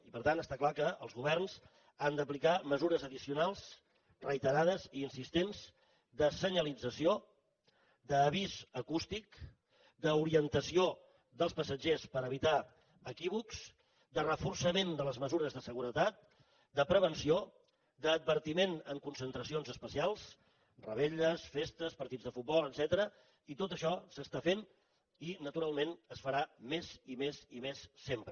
i per tant està clar que els governs han d’aplicar mesures addicionals reiterades i insistents de senyalització d’avís acústic d’orientació dels passatgers per evitar equívocs de reforçament de les mesures de seguretat de prevenció d’advertiment en concentracions especials revetlles festes partits de futbol etcètera i tot això s’està fent i naturalment es farà més i més i més sempre